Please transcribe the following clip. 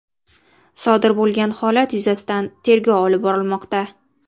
Sodir bo‘lgan holat yuzasidan tergov olib borilmoqda.